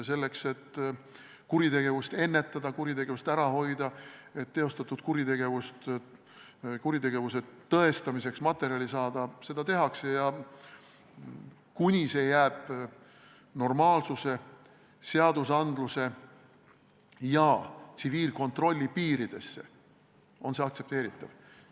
Selleks et kuritegevust ennetada, kuritegevust ära hoida, et teostatud kuritegude tõestamiseks materjali saada, seda tehakse ja kuni see jääb normaalsuse, seadustiku ja tsiviilkontrolli piiridesse, on see aktsepteeritav.